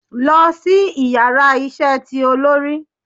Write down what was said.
Lọ si íyarà isé tí olori!